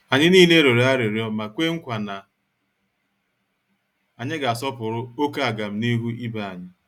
Anyị niile rịọrọ arịrịọ ma kwe nkwa na anyị ga -asọpụrụ oké agamnihu ibé anyị.